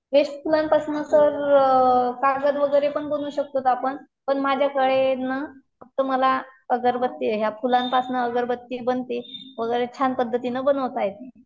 Waste फूलांपासून तर कागद वगैरे पण करू शकतो आपण पण माझ्याकडे ना तुम्हाला अगरबत्ती ह्या फुलांपासून अगरबत्ती बनते वगैरे छान पद्धतीने बनावता येते.